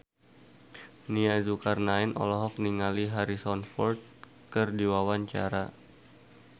Nia Zulkarnaen olohok ningali Harrison Ford keur diwawancara